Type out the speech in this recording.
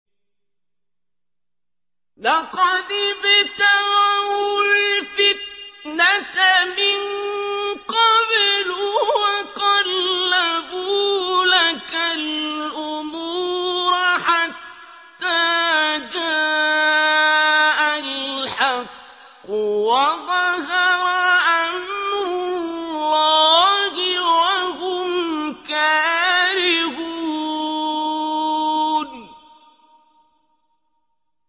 لَقَدِ ابْتَغَوُا الْفِتْنَةَ مِن قَبْلُ وَقَلَّبُوا لَكَ الْأُمُورَ حَتَّىٰ جَاءَ الْحَقُّ وَظَهَرَ أَمْرُ اللَّهِ وَهُمْ كَارِهُونَ